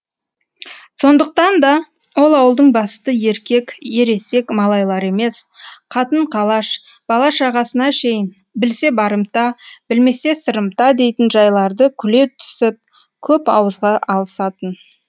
сондықтан да ол ауылдың басты еркек ересек малайлары емес қатын қалаш бала шағасына шейін білсе барымта білмесе сырымта дейтін жайларды күле түсіп көп ауызға алысатын